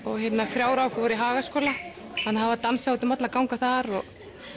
þrjú í Hagaskóla þannig það var dansað út um alla ganga þar og